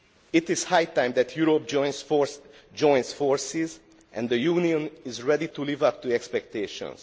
It is high time that Europe joined forces and the Union is ready to live up to expectations.